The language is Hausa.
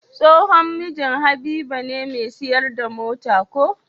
Tsohon mijin habiba ne me siyar da mota ko?